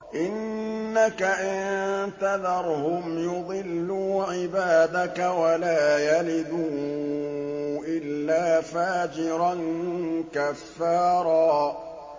إِنَّكَ إِن تَذَرْهُمْ يُضِلُّوا عِبَادَكَ وَلَا يَلِدُوا إِلَّا فَاجِرًا كَفَّارًا